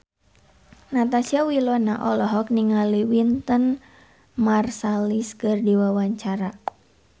Natasha Wilona olohok ningali Wynton Marsalis keur diwawancara